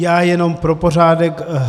Já jenom pro pořádek.